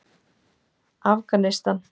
Afganistan